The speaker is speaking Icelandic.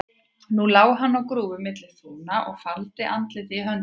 Nú lá hann á grúfu milli þúfna og faldi andlitið í höndum sér.